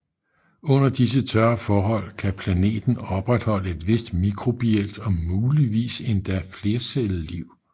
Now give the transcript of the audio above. Under disse tørre forhold kan planeten opretholde et vist mikrobielt og muligvis endda flercellet liv